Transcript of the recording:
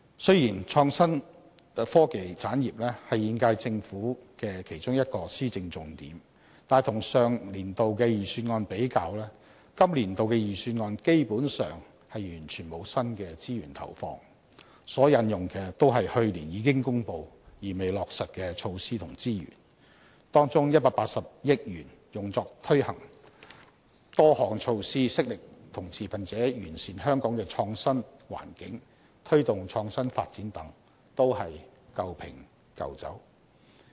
雖然創新科技產業是現屆政府的其中一項施政重點，但與上年度的預算案比較，今年度的預算案基本上完全沒有新的資源投放，所引用的均是去年已經公布而未落實的措施和資源，當中180億元用作推行多項措施，悉力與持份者完善香港的創新環境，推動創新發展等，都是舊瓶舊酒。